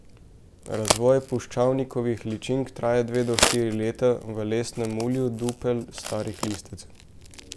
Razvoj puščavnikovih ličink traja dve do štiri leta v lesnem mulju dupel starih listavcev.